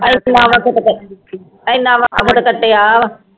ਕੀਤੇ ਇਨਾ ਵਖਤ ਹੁਣ ਕਟੀਆ ਵਾ